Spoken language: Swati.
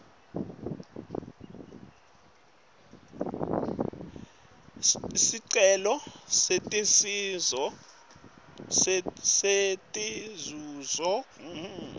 sicelo setinzuzo tekugula